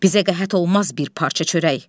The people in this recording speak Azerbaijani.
Bizə qəhət olmaz bir parça çörək.